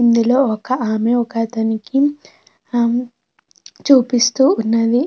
ఇందులో ఒక ఆమె ఒక అతనికి ఆమ్ చూపిస్తూ ఉన్నది.